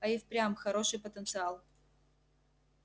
а и впрямь хороший потенциал